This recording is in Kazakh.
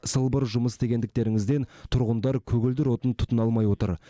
сылбыр жұмыс істегендіктеріңізден тұрғындар көгілдір отын тұтына алмай отыр